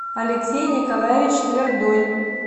алексей николаевич твердой